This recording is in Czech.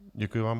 Děkuji vám.